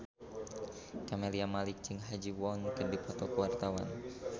Camelia Malik jeung Ha Ji Won keur dipoto ku wartawan